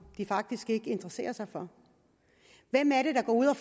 de faktisk ikke interesserer sig for hvem er det der går ud og